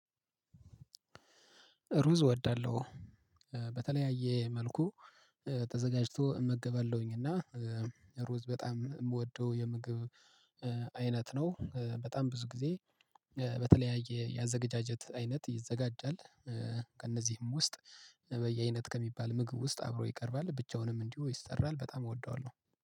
ሩዝ እወዳለሁ በተለያየ መልኩ ተዘጋጅቶ እመገባለሁኝ። እና ሩዝ በጣም የምወደው የምግብ አይነት ነው። በጣም ብዙ ጊዜ በተለያየ ያዘገጃጀት አይነት ይዘጋጃል። ከእነዚህም ውስጥ በየአይነት ከሚባል ምግብ ውስጥ አብሮ ይቀርባል ብቻውንም እንዲሁ ይሰራል። በጣም እወደዋለሁ።